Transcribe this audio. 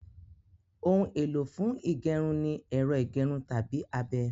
Ohun èlò fún ígẹrun ní ẹ́rọ ígẹrun tàbí abẹ